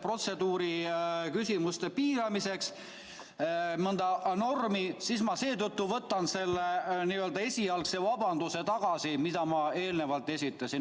protseduuriküsimuste piiramiseks, mõnda normi, siis ma võtan selle n-ö esialgse vabanduse tagasi, mille ma eelnevalt esitasin.